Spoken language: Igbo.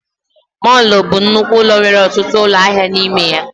Mọlụ bụ nnukwu ụlọ nwere ọtụtụ ụlọ ahịa na ime ya